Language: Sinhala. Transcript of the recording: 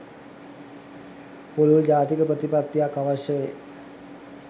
පුළුල් ජාතික ප්‍රතිපත්තියක් අවශ්‍ය වේ.